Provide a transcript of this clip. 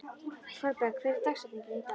Thorberg, hver er dagsetningin í dag?